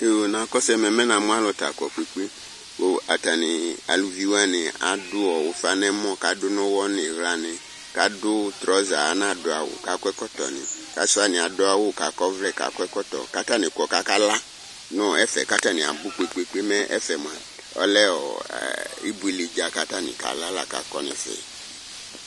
Yoo Nakɔsʋ ɛmɛ mɛ namu alu ta akɔ kpekpekpe Atani evi waniadu ufa nʋ ɛmɔ, kʋ adu nʋ ʋwɔ nʋ iɣla nɩ, kʋ asu traʋsa, anadu awu, kʋ akɔ ɛkɔtɔnɩ Asi wani adu awu kʋ akɔ ɔvlɛ kʋ akɔ ɛkɔtɔ nɩ Atani kɔ, kʋ akala nʋ ɛfɛ Atani abʋ kpekpekpe Mɛ ɛfɛ mua ɔlɛ ibuele dza lakʋ atani akɔ nʋ ɛfɛ kʋ akala